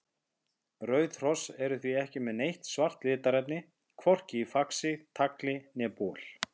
Rauð hross eru því ekki með neitt svart litarefni, hvorki í faxi, tagli né bol.